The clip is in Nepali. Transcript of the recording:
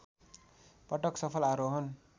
पटक सफल आरोहण